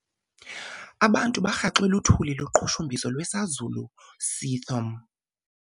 Abantu barhaxwe luthuli loqhushumbiso lwesazulu seathom.